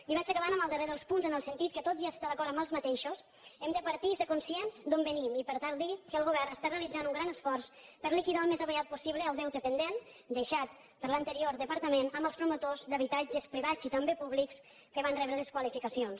i vaig acabant amb el darrer dels punts en el sentit que tot i estar d’acord amb aquests hem de partir i ser conscients d’on venim i per tant dir que el govern està realitzant un gran esforç per a liquidar al més aviat possible el deute pendent deixat per l’anterior departament amb els promotors d’habitatges privats i també públics que van rebre les qualificacions